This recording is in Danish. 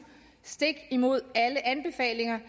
stik imod alle anbefalinger